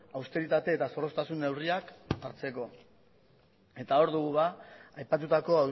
austeritate eta zorroztasun neurriak hartzeko hor dugu aipatutako